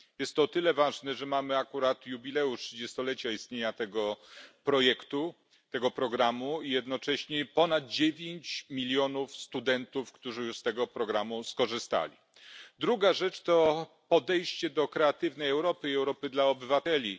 Jest to o tyle ważne, że mamy akurat jubileusz trzydziestolecia istnienia tego programu i jednocześnie ponad dziewięć milionów studentów, którzy już z tego programu skorzystali. Druga rzecz to podejście do Kreatywnej Europy i Europy dla obywateli.